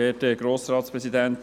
Kommissionssprecher